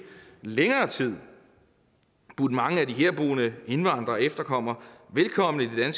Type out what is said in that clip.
længere tid har budt mange af de herboende indvandrere og efterkommere velkommen i det